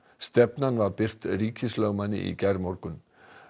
stefnan var birt ríkislögmanni í gærmorgun